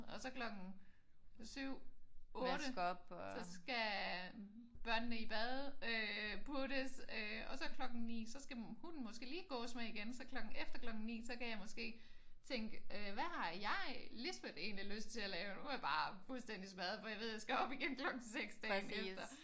Og så klokken 7 8 så skal børnene i bad øh puttes øh og så klokken 9 så skal hunden måske lige gås med igen så klokken efter klokken 9 så kan jeg måske tænke hvad har jeg Lisbeth egenligt lyst til at lave? Nu er jeg bare fuldstændigt smadret for jeg ved at jeg skal op igen klokken 6 dagen efter